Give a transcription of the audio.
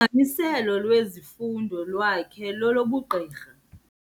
aniselo lwezifundo lwakhe lelobugqirha.